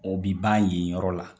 O bi ban yen yɔrɔ la.